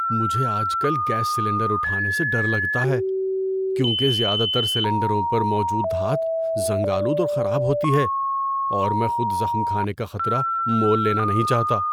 مجھے آج کل گیس سلنڈر اٹھانے سے ڈر لگتا ہے کیونکہ زیادہ تر سلنڈروں پر موجود دھات زنگ آلود اور خراب ہوتی ہے اور میں خود زخم کھانے کا خطرہ مول لینا نہیں چاہتا۔